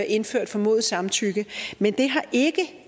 indført formodet samtykke men det har ikke